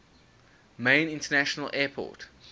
main international airport